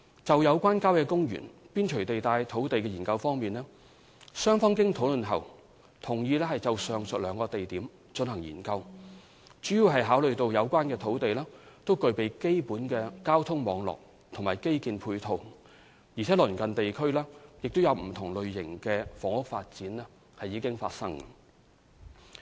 就有關郊野公園邊陲地帶土地的研究方面，雙方經討論後同意就上述兩個地點進行研究，主要是考慮到有關土地均具備基本的交通網絡和基建配套，而鄰近地區亦有不同類型的房屋發展。